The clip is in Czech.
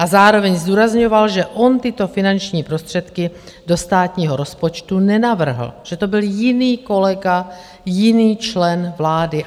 A zároveň zdůrazňoval, že on tyto finanční prostředky do státního rozpočtu nenavrhl, že to byl jiný kolega, jiný člen vlády.